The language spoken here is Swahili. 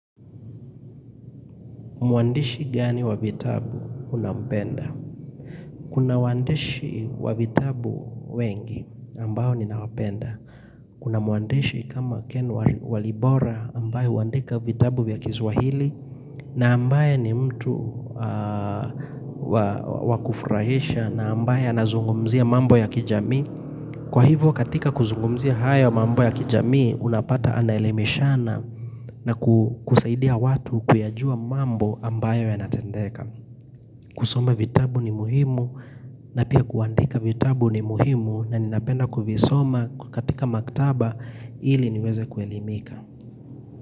Muandishi gani wa vitabu unapenda? Kuna waandishi wa vitabu wengi ambao ninawapenda. Kuna muandishi kama ken walibora ambaye uandika vitabu ya kiswahili na ambaye ni mtu wakufrahisha na ambaye anazungumzia mambo ya kijami. Kwa hivo katika kuzungumzia haya mambo ya kijamii unapata anaelemishana na kusaidia watu kuyajua mambo ambayo yanatendeka. Kusoma vitabu ni muhimu na pia kuandika vitabu ni muhimu na ninapenda kuvisoma katika maktaba ili niweze kuelimika.